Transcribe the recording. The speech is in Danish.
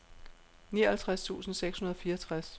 nioghalvtreds tusind seks hundrede og fireogtres